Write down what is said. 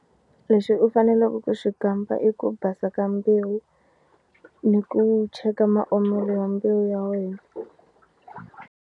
Lexi u faneleke ku xi kamba i ku basa ka mbewu ni ku cheka maomelo ya mbewu ya wena.